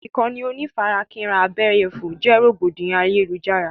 Ìkànnì onífarakínra abẹ́yẹfò jẹ́ rògbòdìyàn ayélujára.